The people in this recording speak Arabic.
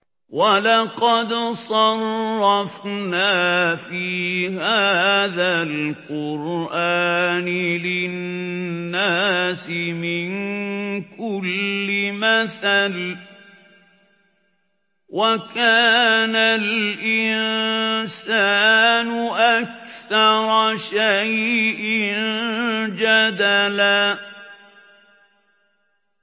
وَلَقَدْ صَرَّفْنَا فِي هَٰذَا الْقُرْآنِ لِلنَّاسِ مِن كُلِّ مَثَلٍ ۚ وَكَانَ الْإِنسَانُ أَكْثَرَ شَيْءٍ جَدَلًا